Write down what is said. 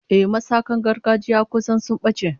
Ehh, masaka gargajiya kusan sun bace